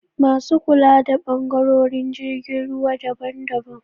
Masu kula da ɓangarorin jirgin ruwa daban daban